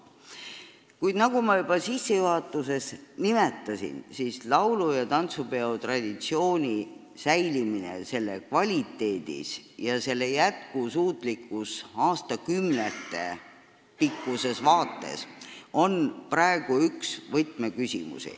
Kuid nagu ma sissejuhatuses juba nimetasin, on laulu- ja tantsupeo traditsiooni samas kvaliteedis säilimine, selle jätkusuutlikkus aastakümnetepikkuses vaates praegu üks võtmeküsimusi.